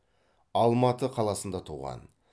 алматы қаласында туған